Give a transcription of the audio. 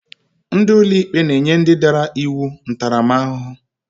Ndị ụlọikpe na-enye ndị dara iwu ntaramahụhụ.